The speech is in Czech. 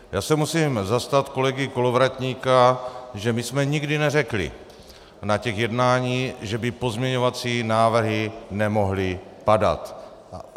Já se musím zastat kolegy Kolovratníka, že my jsme nikdy neřekli na těch jednáních, že by pozměňovací návrhy nemohly padat.